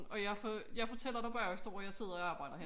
Og jeg jeg fortæller dig bagefter hvor jeg sidder og arbejder henne